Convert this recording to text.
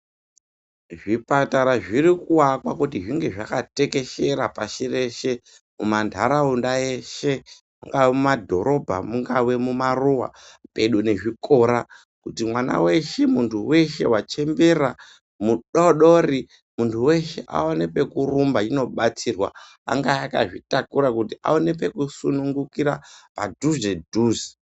Zvipatara zviri kuakwa kuti zvinge zvakatekeshera pashi reshe mumanharaunda eshe mungava mumadhorobha mungava mumaruwa pedo nezvikora kuti mwana weshe muntu weshe wachembera mudoodori muntu weshe aone pekurumba achinobatsirwa. Angava akadzitakura kuti aone pekusunungukira padhuze dhuze.